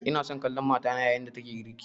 Ina son kallon matata yayin da take girki